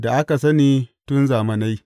da aka sani tun zamanai.